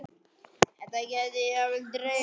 Það gæti jafnvel dregist frekar.